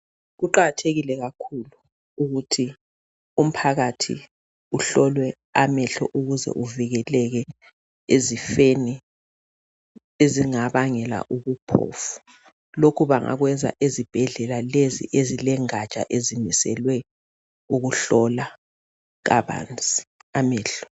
Kuqakathekile kakhulu ukuthi umphakathi uhlolwe amehlo ukuze uvikeleke ezifeni ezingabangela ubuphofu lokhu bengakwenza ezibhedlela lezi ezilengatsha ezimiselwe ukuhlola amehlo